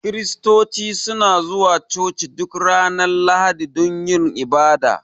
kiristoci suna zuwa coci duk Ranar lahadi dun yin ibada.